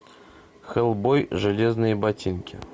хеллбой железные ботинки